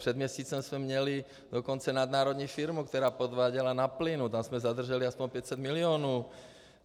Před měsícem jsme měli dokonce nadnárodní firmu, která podváděla na plynu, tam jsme zadrželi aspoň 500 milionů.